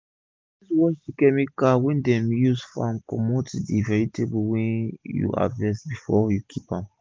always wash chemical wey dem use farm comot from d vegetable wey u harvest before u keep am.